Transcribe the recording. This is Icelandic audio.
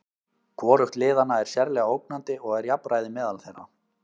Hvorugt liðanna er sérlega ógnandi og er jafnræði á meðal þeirra.